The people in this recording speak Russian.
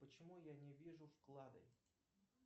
почему я не вижу вклады